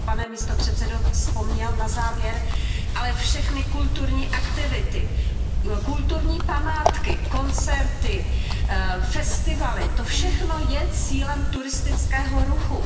Vy jste ho, pane místopředsedo, vzpomněl na závěr, ale všechny kulturní aktivity, kulturní památky, koncerty, festivaly, to všechno je cílem turistického ruchu.